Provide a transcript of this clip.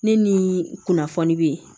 Ne ni kunnafoni be